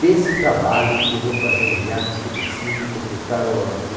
Desse trabalho, eu vou fazer um hiato que preciso consultar o